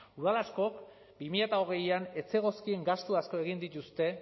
udal askok bi mila hogeian ez zegozkien gastu asko egin dituzte